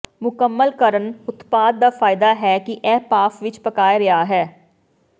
ਮੁਕੰਮਲ ਕਰਨ ਉਤਪਾਦ ਦਾ ਫਾਇਦਾ ਹੈ ਕਿ ਇਹ ਭਾਫ਼ ਵਿੱਚ ਪਕਾਏ ਰਿਹਾ ਹੈ